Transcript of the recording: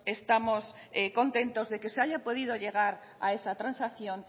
estamos contentos de que se haya podido llegar a esa transacción